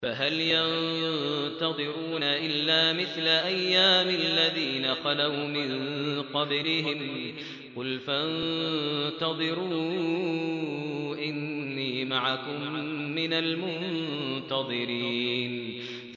فَهَلْ يَنتَظِرُونَ إِلَّا مِثْلَ أَيَّامِ الَّذِينَ خَلَوْا مِن قَبْلِهِمْ ۚ قُلْ فَانتَظِرُوا إِنِّي مَعَكُم مِّنَ الْمُنتَظِرِينَ